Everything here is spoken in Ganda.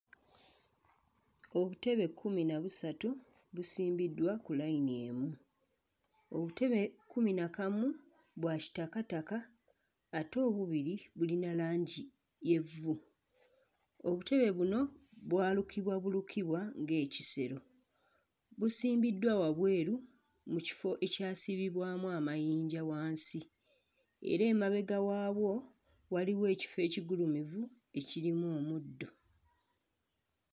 Obutebe kkumi na busatu busimbiddwa ku layini emu. Obutebe kkumi na kamu bwa kitakataka ate obubiri bulina langi y'evvu. Obutebe buno, bwalukibwa bulukibwa ng'ekisero. Busimbiddwa wabweru mu kifo ekyasibibwamu amayinja wansi era emabega waabwo waliwo ekifo ekigulumivu ekirimu omuddo.